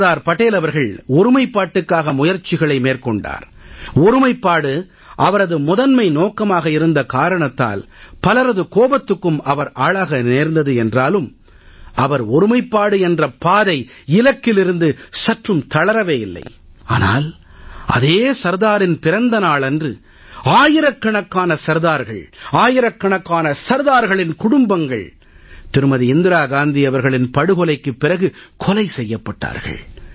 சர்தார் படேல் அவர்கள் ஒருமைப்பாட்டுக்காக முயற்சிகளை மேற்கொண்டார் ஒருமைப்பாடு அவரது முதன்மை நோக்கமாக இருந்த காரணத்தால் பலரது கோபத்துக்கும் அவர் ஆளாக நேர்ந்தது என்றாலும் அவர் ஒருமைப்பாடு என்ற பாதை இலக்கிலிருந்து சற்றும் தளரவே இல்லை ஆனால் அதே சர்தாரின் பிறந்த நாளன்று ஆயிரக்கணக்கான சர்தார்கள் ஆயிரக்கணக்கான சர்தார்களின் குடும்பங்கள் திருமதி இந்திரா காந்தி அவர்களின் படுகொலைக்குப் பிறகு கொலை செய்யப்பட்டார்கள்